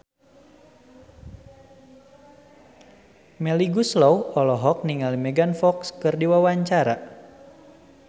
Melly Goeslaw olohok ningali Megan Fox keur diwawancara